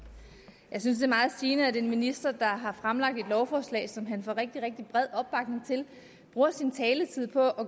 jeg synes det er meget sigende at en minister der har fremlagt et lovforslag som han får rigtig rigtig bred opbakning til bruger sin taletid på